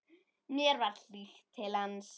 Mér var hlýtt til hans.